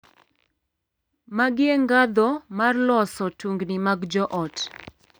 Magi e ngadho mag loso tungni mag joot.